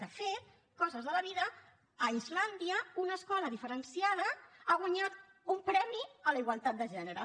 de fet coses de la vida a islàndia una escola diferenciada ha guanyat un premi a la igualtat de gènere